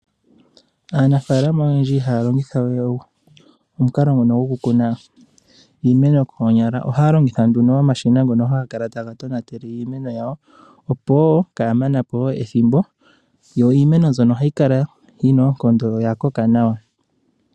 Aanafalama oyendji haya longitha omukalo ngono gokukuna iimeno koonyala, ohaya longitha nuno omashina ngono haga kala taga tonatele iimeno yawo, opo wo kaya mane po ethimbo. Yo iimeno mbyono ohayi kala yina oonkondo, yo oya koka nawa.